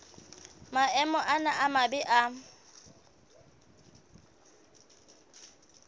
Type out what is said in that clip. maemo ana a mabe a